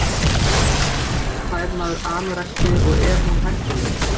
Hvers vegna fær maður anorexíu og er hún hættuleg?